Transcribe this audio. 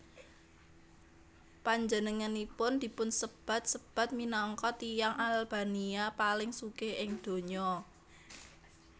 Panjenenganipun dipunsebat sebat minangka tiyang Albania paling sugih ing donya